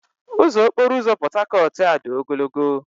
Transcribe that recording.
Ụzọ okporo ụzọ Portharcourt-A dị ogologo.